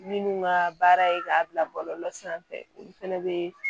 Minnu ka baara ye k'a bila bɔlɔlɔ sanfɛ olu fɛnɛ bɛ